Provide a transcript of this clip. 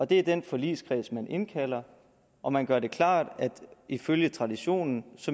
det er den forligskreds man indkalder og man gør det klart at ifølge traditionen